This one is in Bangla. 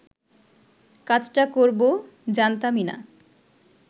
কাজটা করব জানতামই না